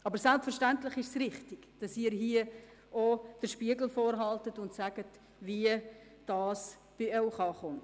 Aber selbstverständlich ist es richtig, dass Sie uns hier den Spiegel vorhalten und sagen, wie dies bei Ihnen ankommt.